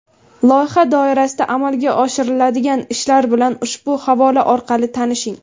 Loyiha doirasida amalga oshiriladigan ishlar bilan ushbu havola orqali tanishing!.